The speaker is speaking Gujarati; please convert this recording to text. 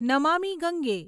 નમામી ગંગે